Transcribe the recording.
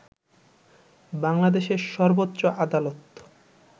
বাংলাদেশের সর্বোচ্চ আদালত